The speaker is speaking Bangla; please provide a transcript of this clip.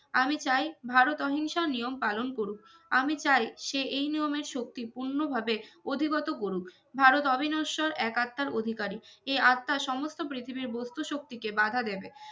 আমি চাই ভারত অহিংসার নিয়ম পালন করুক আমি চাই সে এই নিয়মের শক্তি পূর্ণ ভাবে অধিগত করুক ভারত অবিনশ্বর এক আত্মার অধিকারি এ আত্মা সমস্ত পৃথিবীর বস্তূ শক্তি কে বাঁধা দেবে